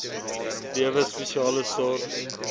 lewe spesiale sorg